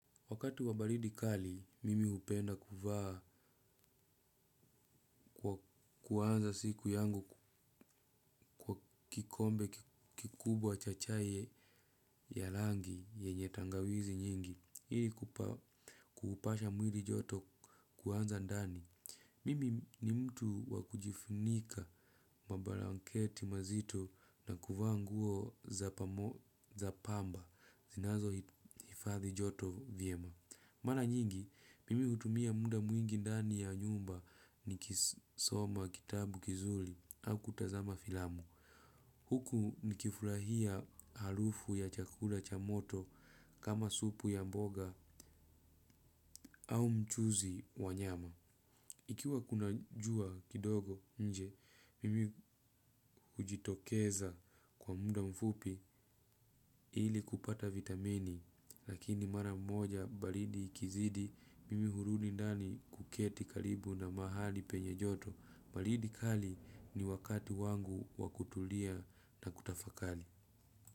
Wakati wabaridi kali, mimi hupenda kuvaa kuanza siku yangu kwa kikombe kikubwa cha chai ya rangi yenye tangawizi nyingi, ili kupasha mwili joto kuanza ndani. Mimi ni mtu wakujifunika mabalanketi mazito na kuvaa nguo za pamba zinazo hifadhi joto vyema. Mana nyingi, mimi hutumia muda mwingi ndani ya nyumba nikisoma kitabu kizuri au kutazama filamu. Huku nikifurahia harufu ya chakula cha moto kama supu ya mboga au mchuzi wa nyama. Ikiwa kuna jua kidogo nje, mimi hujitokeza kwa muda mfupi ili kupata vitamini, lakini mara mmoja baridi ikizidi, mimi hurudi ndani kuketi karibu na mahali penye joto, baridi kali ni wakati wangu wakutulia na kutafakali.